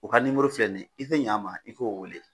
U ka nimoro filɛ ni ye i tɛ ɲɛ n ma i k'o wele.